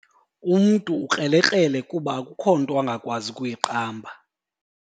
Umntu ukrelekrele kuba akukho nto angakwazi ukuyiqamba.